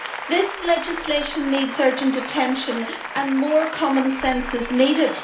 This legislation needs urgent attention, and more common sense is needed.